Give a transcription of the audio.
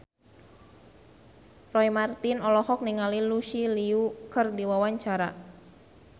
Roy Marten olohok ningali Lucy Liu keur diwawancara